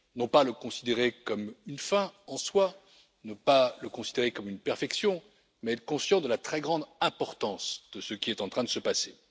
Non pas le considérer comme une fin en soi, non pas le considérer comme une perfection, mais être conscient de la très grande importance de ce qui est en train de se passer.